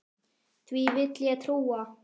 Því vill ég trúa.